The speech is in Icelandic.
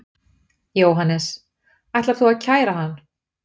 Jóhannes: Ætar þú að kæra hann?